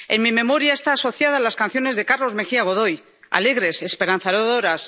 En mi memoria está asociada a las canciones de Carlos Mejía Godoy, alegres, esperanzadoras.